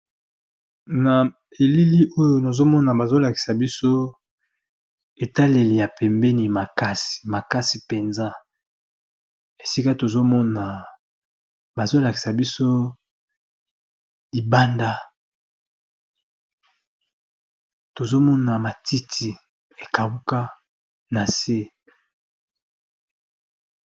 Na elili oyo nazomona bazolakisa biso etaleli ya pembeni makasi, makasi penza esika bazolakisa biso libanda tozomona matiti ekauka na se.